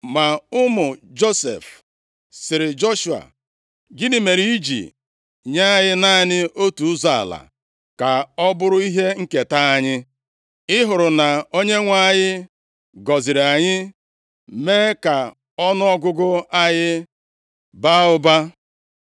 Ma ụmụ ụmụ Josef + 17:14 Ụmụ ụmụ Josef bụ ebo Ifrem na Manase \+xt Jos 14:4\+xt* sịrị Joshua, “Gịnị mere i ji nye anyị naanị otu ụzọ ala ka ọ bụrụ ihe nketa anyị? Ị hụrụ na Onyenwe anyị gọziri anyị mee ka ọnụọgụgụ anyị baa ụba.”